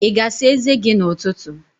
Ị ga-asa eze gị n'ụtụtụ?